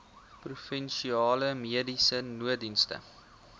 provinsiale mediese nooddienste